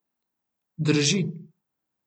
Drži.